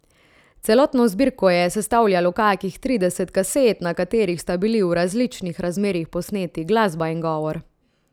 Celotno zbirko je sestavljalo kakih tridesetih kaset, na katerih sta bili v različnih razmerjih posneti glasba in govor.